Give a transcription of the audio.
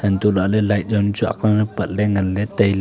untoh lahley light yam chu agle pat ley ngan ley tailey.